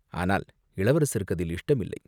ஆனால் இளவரசருக்கு அதில் இஷ்டமில்லை.